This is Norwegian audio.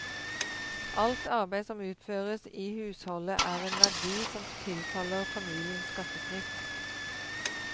Alt arbeid som utføres i husholdet, er en verdi som tilfaller familien skattefritt.